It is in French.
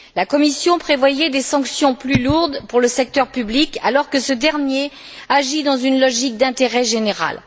La Commission prévoyait des sanctions plus lourdes pour le secteur public alors que ce dernier agit dans une logique d'intérêt général.